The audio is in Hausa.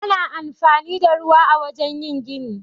Ana anfani da ruwa a wajen yin gini.